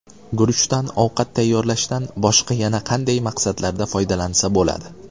Guruchdan ovqat tayyorlashdan boshqa yana qanday maqsadlarda foydalansa bo‘ladi?.